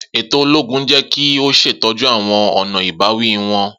Eto ologun yẹ ki o ṣetọju awọn ọna ibawi wọn.